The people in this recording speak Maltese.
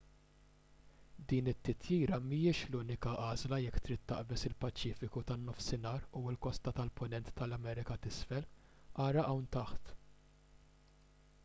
din it-titjira mhijiex l-unika għażla jekk trid taqbeż il-paċifiku tan-nofsinhar u l-kosta tal-punent tal-amerka t'isfel. ara hawn taħt